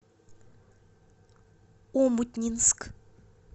омутнинск